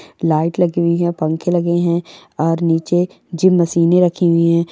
लाइट लगी हुई है पंखे लगे है और नीचे जिम मशीने रखी हुई है ।